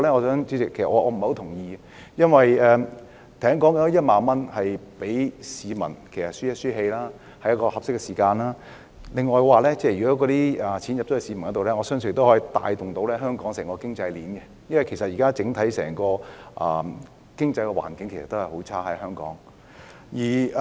這1萬元只是讓市民略為舒一口氣，而在合適的時間讓市民獲得這筆款項，我相信可以帶動香港整個經濟鏈，因為香港現時整體經濟環境仍然很差。